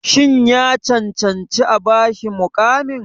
Shin ya cancanci a ba shi muƙamin?